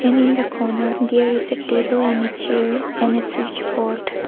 And in the corner there is a table and a chair and a switch board.